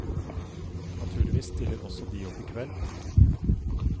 Naturligvis stiller også de opp i kveld. punktum